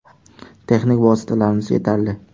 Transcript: Texnik vositalarimiz yetarli.